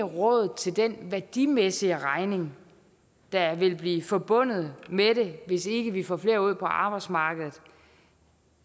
råd til den værdimæssige regning der vil blive forbundet med det hvis ikke vi får flere ud på arbejdsmarkedet